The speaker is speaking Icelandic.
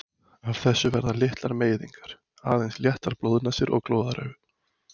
Af þessu verða litlar meiðingar, aðeins léttar blóðnasir og glóðaraugu.